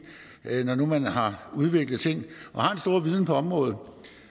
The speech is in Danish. når nu man har udviklet ting og har en stor viden på området